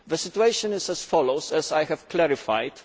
The situation is as follows, as I have clarified.